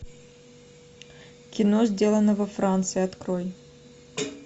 кино сделано во франции открой